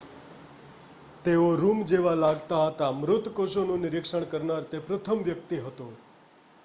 તેઓ રૂમ જેવા લાગતા હતા મૃત કોષોનું નિરીક્ષણ કરનાર તે પ્રથમ વ્યક્તિ હતો